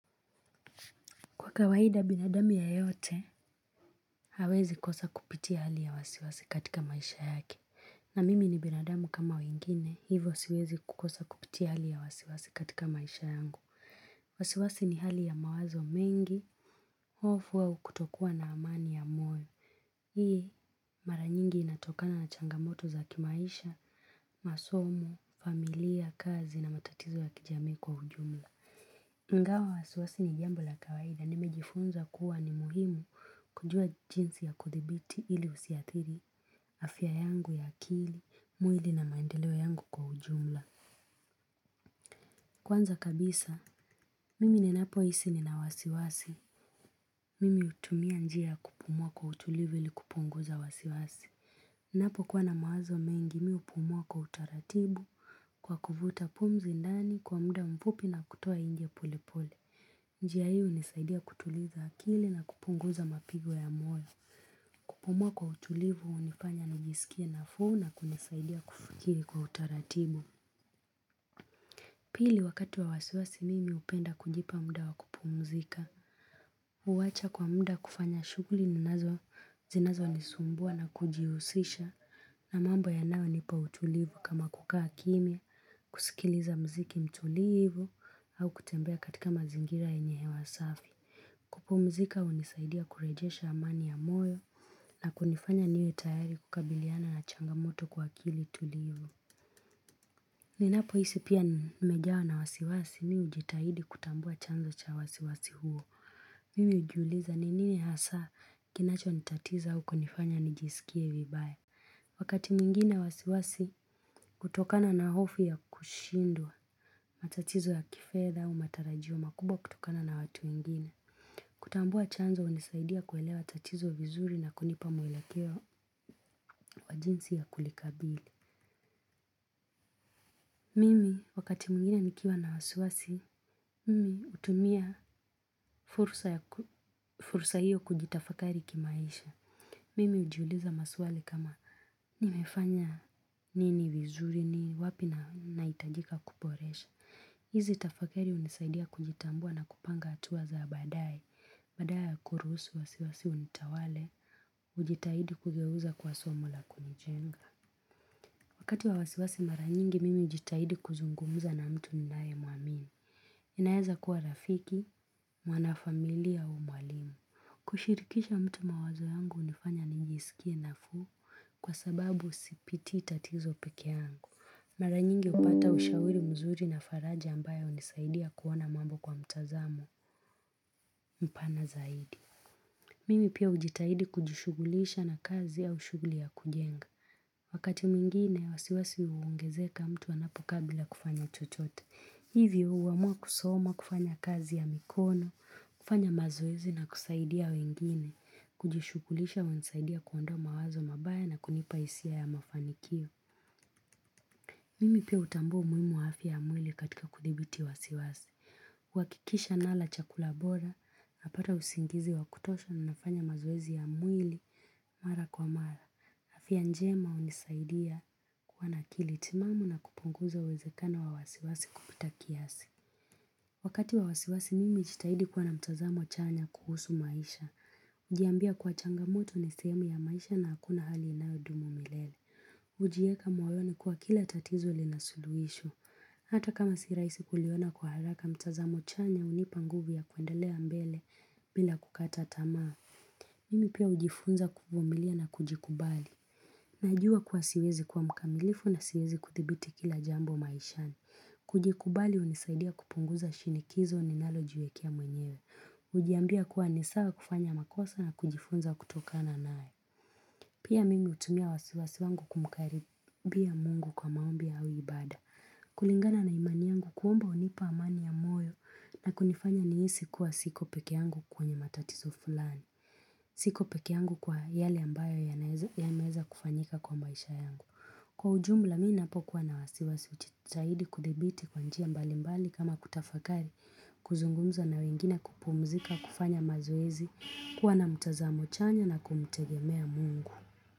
Kwa kawaida binadamu yeyote, hawezi kosa kupitia hali ya wasiwasi katika maisha yake. Na mimi ni binadamu kama wengine, hivyo siwezi kukosa kupitia hali ya wasiwasi katika maisha yangu. Wasiwasi ni hali ya mawazo mengi, hofu au kutokua na amani ya moyo. Hii, maranyingi inatokana na changamoto za kimaisha, masomo, familia, kazi na matatizo ya kijamii kwa ujumla. Ingawa wasiwasi ni jambo la kawaida nimejifunza kuwa ni muhimu kujua jinsi ya kuthibiti ili usiadhiri, afya yangu ya akili, mwili na maendeleo yangu kwa ujumla. Kwanza kabisa, mimi ni napo hisi nina wasiwasi, mimi hutumia njia ya kupumua kwa utulivu ili kupunguza wasiwasi. Ninapo kuwa na mawazo mengi mimi hupumua kwa utaratibu kwa kuvuta pumzi ndani kwa muda mfupi na kutoa inje pole pole. Njia hii hunisaidia kutuliza akili na kupunguza mapigo ya moyo. Kupumua kwa utulivu hunifanya ni jisikie nafuu na kunisaidia kufikiri kwa utaratibu. Pili wakati wa wasiwasi mimi hupenda kujipa muda wa kupumzika. Huwacha kwa muda kufanya shughuli, zinazo nisumbua na kujihusisha na mambo yanayo nipa utulivu kama kukaa kimyia, kusikiliza mziki mtulivu au kutembea katika mazingira yenye hewa safi. Kupumzika hunisaidia kurejesha amani ya moyo na kunifanya niwe tayari kukabiliana na changamoto kwa akili tulivu. Ninapo hisi pia nimejawa na wasiwasi mimi hujitahidi kutambua chanzo cha wasiwasi huo. Mimi hujiuliza ni nini hasa kinacho nitatiza au kunifanya nijisikie vibaya. Wakati mwingine wasiwasi hutokana na hofu ya kushindwa, matatizo ya kifedha au matarajio makubwa kutokana na watu wengine. Kutambua chanzo hunisaidia kuelewa tatizo vizuri na kunipa mwelekeo kwa jinsi ya kulikabili. Mimi wakati mwingine nikiwa na wasi wasi, mimi hutumia fursa hiyo kujitafakari kimaisha. Mimi hujiuliza maswali kama nimefanya nini vizuri ni wapi na hitajika kuboresha. Hizi tafakari hunisaidia kujitambua na kupanga hatuwa za baadaye. Badala ya kuruhusu wasiwasi unitawale, hujitahidi kugeuza kuwa somo la kunijenga. Wakati wa wasiwasi maranyingi, mimi hujitahidi kuzungumza na mtu ninaye muamini. Inaeza kuwa rafiki, mwana familia au mwalimu. Kushirikisha mtu mawazo yangu hunifanya nijisikie nafuu kwa sababu sipiti tatizo peke yangu. Maranyingi hupata ushauri mzuri na faraja ambayo hunisaidia kuona mambo kwa mtazamo mpana zaidi. Mimi pia hujitahidi kujishughulisha na kazi au shughuli ya kujenga. Wakati mwingine, wasiwasi huongezeka mtu anapokaa bila kufanya chochote. Hivyo, huamua kusoma kufanya kazi ya mikono, kufanya mazoezi na kusaidia wengine. Kujishughulisha hunisaidia kuondoa mawazo mabaya na kunipa hisia ya mafanikio. Mimi pia hutambua umuhimu wa afia ya mwili katika kuthibiti wasiwasi. Huhakikisha nala chakula bora, napata usingizi wakutosha na nafanya mazoezi ya mwili. Mara kwa mara, afia njema hunisaidia kuwa na akili timamu na kupunguza uwezekano wa wasiwasi kupita kiasi. Wakati wa wasiwasi mimi hujitahidi kuwa na mtazamo chanya kuhusu maisha hujiambia kuwa changamoto ni sehemu ya maisha na hakuna hali inayo ndumu milele hujieka moyoni kuwa kila tatizo lina suluhisho. Hata kama si rahisi kuliona kwa haraka mtazamo chanya hunipa nguvu ya kuendelea mbele bila kukata tamaa. Mimi pia hujifunza kuvumilia na kujikubali. Najua kuwa siwezi kuwa mkamilifu na siwezi kuthibiti kila jambo maishani. Kujikubali hunisaidia kupunguza shinikizo ni nalo jiwekea mwenyewe. Hujiambia kuwa nisawa kufanya makosa na kujifunza kutokana nae. Pia mimi hutumia wasiwasi wangu kumkaribia mungu kwa maombi au ibada. Kulingana na imani yangu kuomba hunipa amani ya moyo na kunifanya nihisi kuwa siko peke yangu kwenye matatizo fulani. Siko peke yangu kwa yale ambayo yameweza kufanyika kwa maisha yangu, kwa ujumla mimi ninapo kuwa na wasiwasi hujitahidi kudhibiti kwa njia mbali mbali kama kutafakari. Kuzungumza na wengine, kupumzika kufanya mazoezi kuwa na mtazamo chanya na kumtegemea mungu.